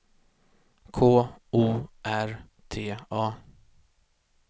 K O R T A